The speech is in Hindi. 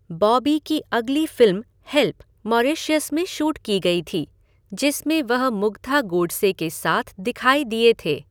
बॉबी की अगली फ़िल्म 'हेल्प' मॉरीशस में शूट की गई थी, जिसमें वह मुग्धा गोडसे के साथ दिखाई दिए थे।